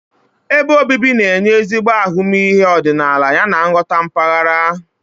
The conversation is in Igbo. Ebe obibi na-enye ezigbo ahụmịhe ọdịnala yana nghọta mpaghara.